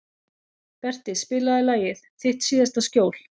Berti, spilaðu lagið „Þitt síðasta skjól“.